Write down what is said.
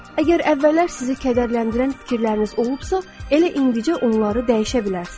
Əgər əvvəllər sizi kədərləndirən fikirləriniz olubsa, elə indicə onları dəyişə bilərsiz.